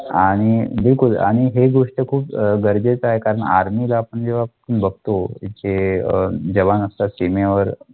आणि बिलकुल आणि हि गोष्ट खूप गरजेच आहे, कारण army ला आपण जेव्हा बघतो ते जवान असतात सीमेवर